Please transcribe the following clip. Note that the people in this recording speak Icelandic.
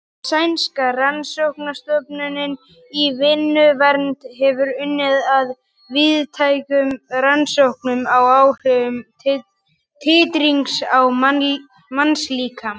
Sænska rannsóknastofnunin í vinnuvernd hefur unnið að víðtækum rannsóknum á áhrifum titrings á mannslíkamann.